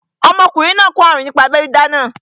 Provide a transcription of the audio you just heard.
Ọmọkùnrin náà kó àrùn nípa abẹ́ dídá náà